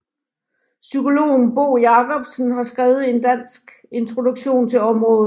Psykologen Bo Jacobsen har skrevet en dansk introduktion til området